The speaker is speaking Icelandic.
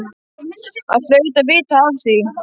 Hann hlaut að vita af því.